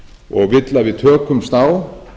og vill að við tökumst á